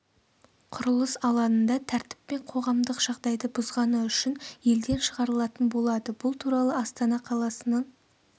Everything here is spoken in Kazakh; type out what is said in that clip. құрылыс алаңында тәртіп пен қоғамдық жағдайды бұзғаны үшін елден шығарылатын болады бұл туралы астана қаласының